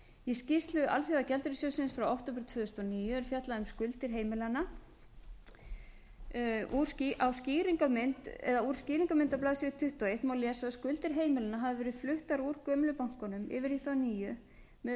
í skýrslu alþjóðagjaldeyrissjóðsins frá október tvö þúsund og níu er fjallað um skuldir heimilanna úr skýringarmynd á blaðsíðu tuttugu og eitt má lesa að skuldir heimilanna hafi verið fluttar úr gömlu bönkunum yfir í þá nýju með um það bil fjörutíu og fimm